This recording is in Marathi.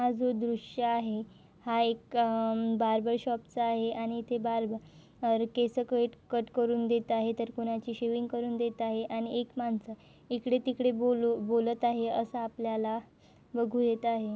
हा जो दृश्य आहे हा एक अं बार्बर शॉप चा आहे आणि इथे बार्बर केसं कट कट करून देत आहे तर कुणाची शेविंग करून देत आहे आणि एक माणस इकडे तिकडे बोलू बोलत आहे असे आपल्याला बघू येत आहे.